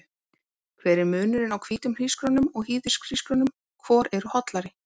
Hver er munurinn á hvítum hrísgrjónum og hýðishrísgrjónum, hvor eru hollari?